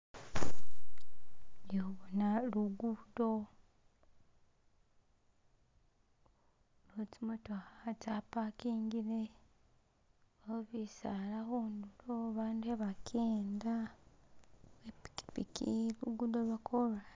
Yo'bona lugudo, awo tsyimotokha tsa pakingingile, awo bisala khundulo abandu khabakenda, uwe'pikipiki khulugudo lwo'korasi.